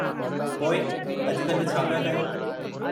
पोइ अॼु-कल्हि छा पिया कयो?